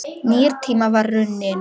Nýr tími var runninn upp.